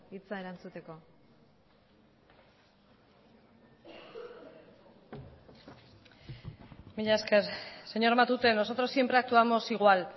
hitza erantzuteko mila esker señor matute nosotros siempre actuamos igual